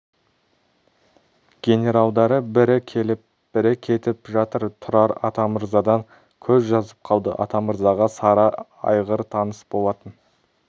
генералдары бірі келіп бірі кетіп жатыр тұрар атамырзадан көз жазып қалды атамырзаға сары айғыр таныс болатын